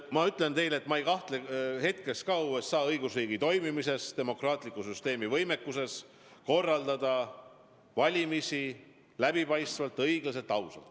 Ma ütlen teile, et ma ei kahtle hetkeski USA õigusriigi toimimises, demokraatliku süsteemi võimekuses korraldada valimisi läbipaistvalt, õiglaselt, ausalt.